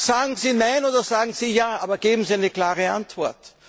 Sagen Sie Nein oder sagen Sie Ja, aber geben Sie eine klare Antwort!